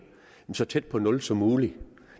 så tæt på nul som muligt